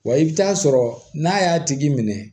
Wa i bɛ taa sɔrɔ n'a y'a tigi minɛ